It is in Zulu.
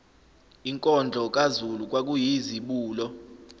inkondlo kazulu kwakuyizibulo